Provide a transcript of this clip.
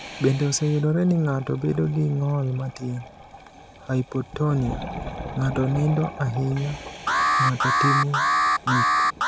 "Bende, oseyudore ni ng’ato bedo gi ng’ol matin (hypotonia), ng’ato nindo ahinya, ng’ato timo gik